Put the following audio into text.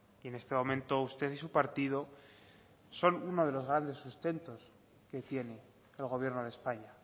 y en este momento usted y su partido son uno de los grandes sustentos que tiene el gobierno de españa